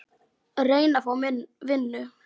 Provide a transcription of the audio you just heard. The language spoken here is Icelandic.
Reyna að fá vinnu?